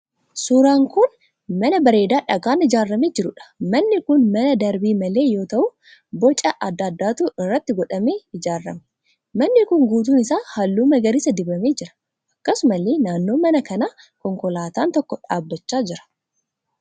Suuraan kun mana bareedaa dhagaan ijaaramee jiruudha. manni kun mana darbii malee yoo ta'u boca adda addaatu irratti godhamee ijaarame. Manni kun guutuun isaa halluu magariisa dibamee jira. Akkasumallee naannoo mana kanaa konkolaataan tokko dhaabbachaa jira.